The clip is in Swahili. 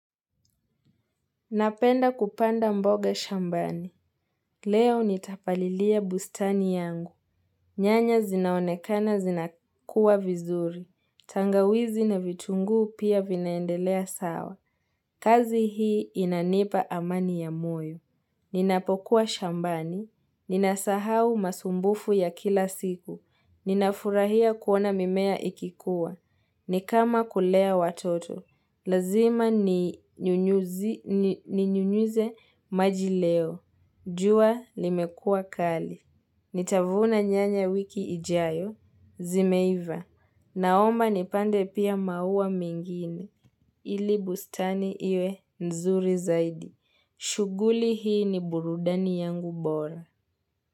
Napenda kupanda mboga shambani. Leo nitapalilia bustani yangu. Nyanya zinaonekana zinakua vizuri. Tangawizi na vitunguu pia vinaendelea sawa. Kazi hii inanipa amani ya moyo. Ninapokuwa shambani. Ninasahau masumbufu ya kila siku. Ninafurahia kuona mimea ikikua. Nikama kulea watoto. Lazima ninyunyuze maji leo. Jua limekuwa kali. Nitavuna nyanya wiki ijayo. Zimeiva. Naomba nipande pia maua mengine. Ili bustani iwe nzuri zaidi. Shuguli hii ni burudani yangu bora.